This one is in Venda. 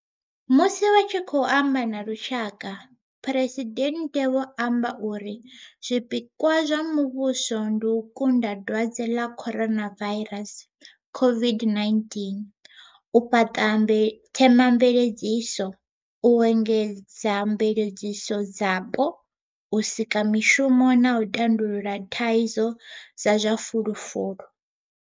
Musi vha tshi khou amba na lushaka, Phresidennde vho amba uri zwipikwa zwa muvhuso ndi u kunda dwadze ḽa Coronavairasi COVID-19, u fhaṱa themamveledziso, u engedza mveledziso dzapo, u sika mishumo na u tandulula thaidzo dza zwa fulufulu.